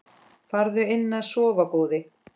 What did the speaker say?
Farðu inn að sofa góði.